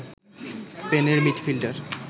স্পেনের মিডফিল্ডার